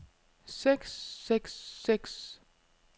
seks seks seks